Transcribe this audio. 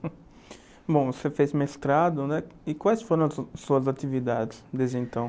Bom, você fez mestrado, né, e quais foram as su suas atividades desde então?